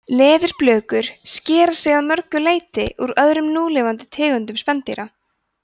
leðurblökur skera sig að mörgu leyti úr öðrum núlifandi tegundum spendýra